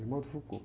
Irmão de Foucault.